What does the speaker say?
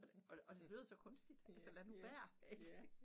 Og det og det lød så kunstigt altså lad nu være ik